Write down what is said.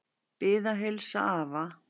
Bið að heilsa afa.